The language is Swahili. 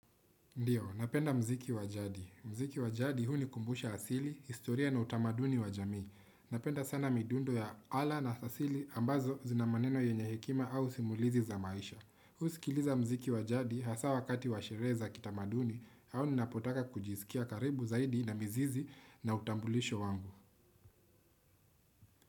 Ndiyo, napenda mziki wa jadi. Mziki wa jadi hunikumbusha asili, historia na utamaduni wa jamii. Napenda sana midundo ya ala na asili ambazo zinamaneno yenye hekima au simulizi za maisha. Husikiliza mziki wa jadi hasa wakati wa sherehe za kitamaduni au ninapotaka kujiskia karibu zaidi na mizizi na utambulisho wangu.